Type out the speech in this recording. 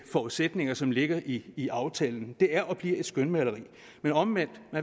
forudsætninger som ligger i i aftalen det er og bliver et skønmaleri men omvendt